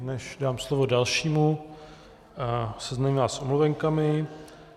Než dám slovo dalšímu, seznámím vás s omluvenkami.